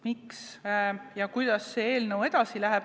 Miks ja kuidas see eelnõu edasi läheb?